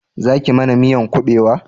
Za ki mana miyan kubewa?